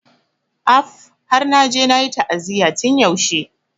Af! Har naje nayi ta'aziyya tun yaushe.